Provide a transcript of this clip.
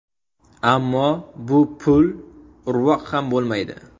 Ammo bu pul urvoq ham bo‘lmaydi.